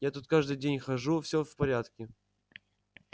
я тут каждый день хожу всё в порядке